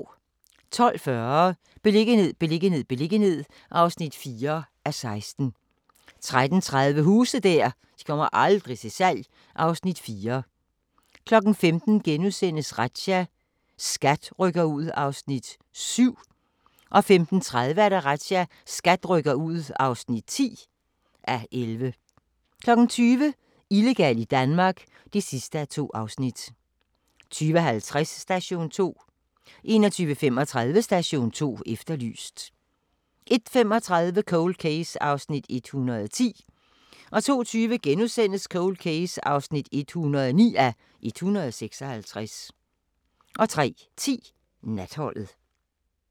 12:40: Beliggenhed, beliggenhed, beliggenhed (4:16) 13:30: Huse der aldrig kommer til salg (Afs. 4) 15:00: Razzia - SKAT rykker ud (7:11)* 15:30: Razzia - SKAT rykker ud (10:11) 20:00: Illegal i Danmark (2:2) 20:50: Station 2 21:35: Station 2 Efterlyst 01:35: Cold Case (110:156) 02:20: Cold Case (109:156)* 03:10: Natholdet